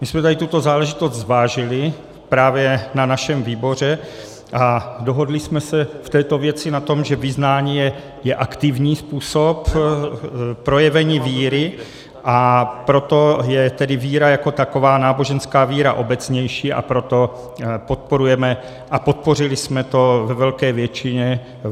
My jsme tady tuto záležitost zvážili právě na našem výboru a dohodli jsme se v této věci na tom, že vyznání je aktivní způsob projevení víry, a proto je tedy víra jako taková náboženská víra obecnější, a proto podporujeme, a podpořili jsme to ve velké většině.